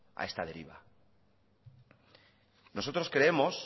a esta deriva nosotros creemos